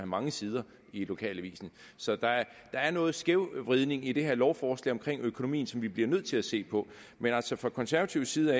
mange sider i lokalavisen så der er noget skævvridning i det her lovforslag omkring økonomien som vi bliver nødt til at se på men altså fra konservativ side